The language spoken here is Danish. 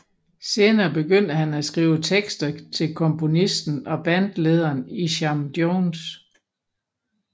Senere begyndte han at skrive tekster til komponisten og bandlederen Isham Jones